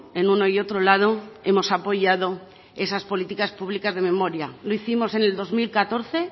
en uno y otro lado hemos apoyado esas políticas públicas de memoria lo hicimos en el dos mil catorce